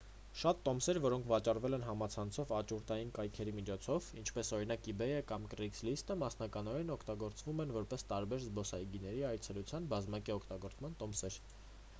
շատ տոմսեր որոնք վաճառվել են համացանցով աճուրդային կայքերի միջոցով ինչպես օրինակ իբեյը կամ կրեյգլիստը մասնակիորեն օգտագործվում են որպես տարբեր զբոսայգիների այցելության բազմակի օգտագործման տոմսեր